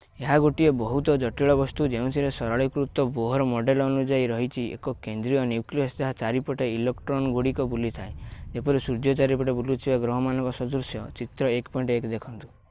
ଏହା ଗୋଟିଏ ବହୁତ ଜଟିଳ ବସ୍ତୁ ଯେଉଁଥିରେ ସରଳୀକୃତ ବୋହର୍ ମଡେଲ୍ ଅନୁଯାୟୀ ରହିଛି ଏକ କେନ୍ଦ୍ରୀୟ ନ୍ୟୁକ୍ଲିୟସ୍ ଯାହା ଚାରିପଟେ ଇଲେକ୍ଟ୍ରନ୍‌ଗୁଡ଼ିକ ବୁଲୁଥାଏ ଯେପରି ସୂର୍ଯ୍ୟ ଚାରିପଟେ ବୁଲୁଥିବା ଗ୍ରହମାନଙ୍କ ସଦୃଶ - ଚିତ୍ର 1.1 ଦେଖନ୍ତୁ।